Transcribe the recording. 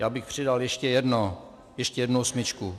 Já bych přidal ještě jedno, ještě jednu osmičku.